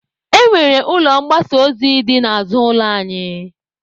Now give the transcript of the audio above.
Ọ nwere ụlọ mgbasa ozi dị n'azụ ụlọ anyị.